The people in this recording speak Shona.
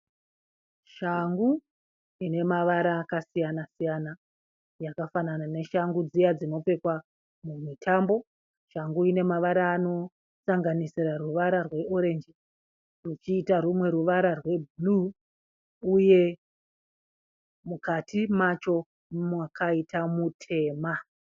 Shangu ine mavara akasiyana siyana. Yakafanana neshangu dziya dzinopfeka mumitambo. Shangu ine mavara anosanganisira ruvara rwe orenji kuchiita rumwe ruvara rwebhuru uye mukati macho makaita mutema.